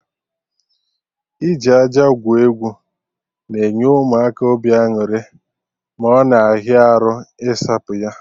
Iji aja gwuo egwu na-enye Ụmụaka obi aṅụrị, ma ọ na ahịa arụ isapụ ya